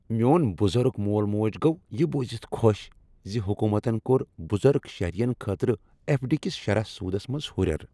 میون بزرگ مول موج گوٚو یِہ بوزِتھ خوش زِ حکومتن کوٚر بزرگ شہرین خٲطرٕ ایف ڈی کس شرح سودس منٛز ہُریر۔